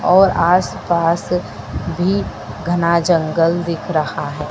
और आसपास भी घना जंगल दिख रहा है।